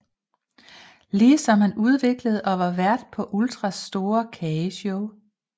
Ligesom han udviklede og var vært på Ultras Sorte Kageshow